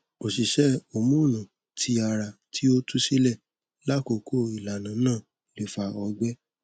oṣiṣẹ homonu ti ara ti a tu silẹ lakoko ilana naa le fa ọgbẹ